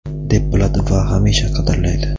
deb biladi va hamisha qadrlaydi.